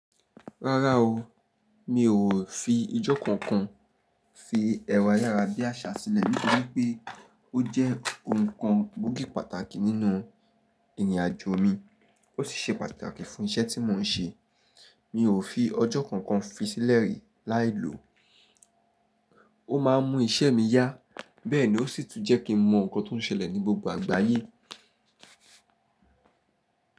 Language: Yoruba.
Rárá o, mi ò fi ọjọ́ kankan fi ẹ̀rọ ayára bí àṣá sílẹ̀ nítorí pé ó jẹ́ ohun kan gbóògì pàtàkì nínú ìrìnàjò mi, ó sì ṣe pàtàkì fún iṣẹ́ tí mò ń ṣe. Mi ò fi ọjọ́ kankan fi sílẹ̀ rí láìlòó, ó má ń mú iṣẹ́ mi yá bẹ́ẹ̀ ni ó sì tún jẹ́ kí n mọ nkan tó ń ṣẹlẹ̀ ní gbogbo àgbáyé.